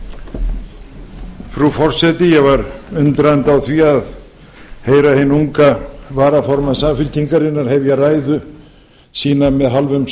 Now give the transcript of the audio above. spólu frú forseti ég var undrandi á því að heyra hinn unga varaformann samfylkingarinnar hefja ræðu sína með hálfum